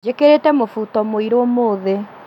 Njĩkĩrĩte mũbuto mũirũ ũmũthĩ